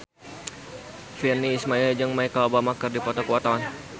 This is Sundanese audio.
Virnie Ismail jeung Michelle Obama keur dipoto ku wartawan